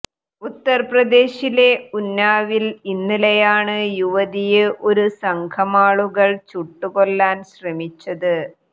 ഉത്തർപ്രദേശിലെ ഉന്നാവിൽ ഇന്നലെയാണ് യുവതിയെ ഒരു സംഘമാളുകൾ ചുട്ടുകൊല്ലാൻ ശ്രമിച്ചത്